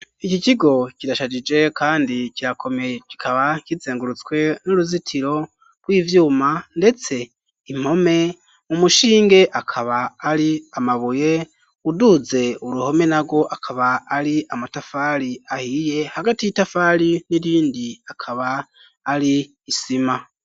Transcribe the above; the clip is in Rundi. Iki kigo kirashajije kandi kirakomeye kikaba kizengurutswe n'uruzitiro rw'ivyuma ndetse impome mu mushinge akaba ari amabuye uduze uruhome narwo akaba ari amatafari ahiye hagati y'itafari n'irindi akaba ari isima.